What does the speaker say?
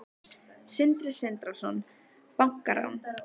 Sindri Sindrason: Bankarán?